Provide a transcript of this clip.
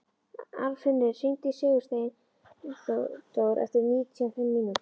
Arnfinnur, hringdu í Sigursteindór eftir níutíu og fimm mínútur.